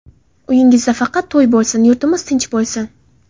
Uyingizda faqat to‘y bo‘lsin, yurtimiz tinch bo‘lsin.